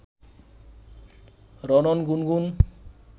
রণন, গুনগুন